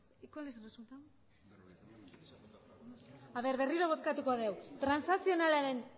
y cuál es el resultado berriro bozkatuko dugu transakzionalaren